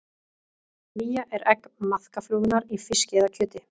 Vía er egg maðkaflugunnar í fiski eða kjöti.